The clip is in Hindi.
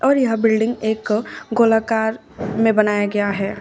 और यहां बिल्डिंग एक गोला कार में बनाया गया है।